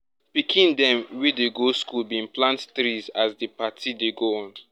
pikin dem wey dey go school bin plant trees as di party dey go on